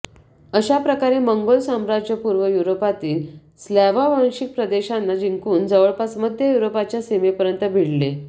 अशाप्रकारे मंगोल साम्राज्य पूर्व युरोपातील स्लाव्हवांशिक प्रदेशांना जिंकून जवळपास मध्य युरोपाच्या सीमेपर्यंत भिडले